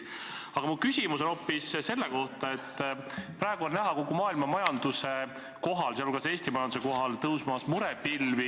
Aga mu küsimus on hoopis selle kohta, et praegu on näha kogu maailma majanduse kohal, sealhulgas Eesti majanduse kohal, tõusmas murepilvi.